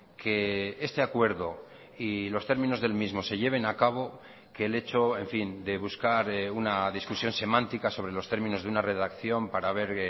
que este acuerdo y los términos del mismo se lleven a cabo que el hecho en fin de buscar una discusión semántica sobre los términos de una redacción para ver